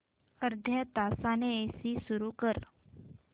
अर्ध्या तासाने एसी सुरू कर